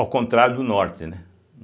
Ao contrário do Norte né.